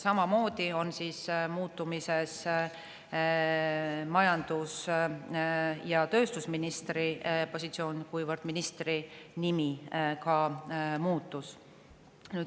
Samamoodi on muutmisel majandus- ja tööstusministri positsioon, kuna ka ministri muutus.